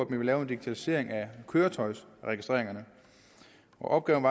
ville lave en digitalisering af køretøjersregistreringerne opgaven